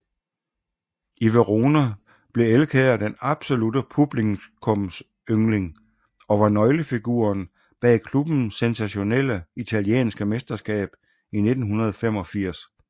I Verona blev Elkjær den absolutte publikumsyndling og var nøglefiguren bag klubbens sensationelle italienske mesterskab i 1985